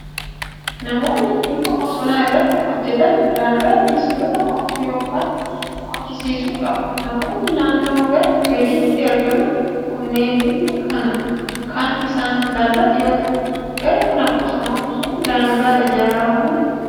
Namoonni dhimma bosonaa irratti hojjetan daangaa fi sulula qotuu yookiin qochisiisuu qabu. Namoonni naannoo gaara gaditti argaman kunneen dhimmi kun kan isaan ilaallatu yoo ta'u, gaara kana bosonomsuuf daangaan ijaaramee jira.